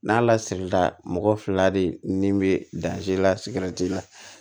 N'a lasirila mɔgɔ fila de nin bɛ la sigɛriti la